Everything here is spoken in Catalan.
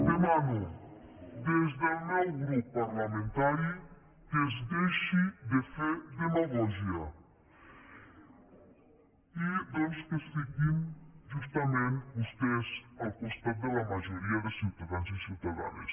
demano des del meu grup parlamentari que es deixi de fer demagògia i doncs que es fiquin justament vostès al costat de la majoria de ciutadans i ciutadanes